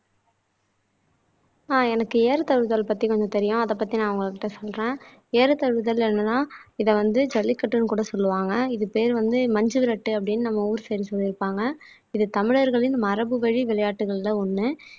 ஆஹ் எனக்கு ஏறுதழுவுதல் பத்தி கொஞ்சம் தெரியும் அதைப் பத்தி நான் உங்க கிட்ட சொல்றேன் ஏறுதழுவுதல் என்னன்னா இதை வந்து ஜல்லிக்கட்டுன்னு கூட சொல்லுவாங்க இது பேரு வந்து மஞ்சுவிரட்டு அப்படீன்னு நம்ம ஊரு சைடு சொல்லிருப்பாங்க இது தமிழர்களின் மரபு வழி விளையாட்டுகள்ல ஒண்ணு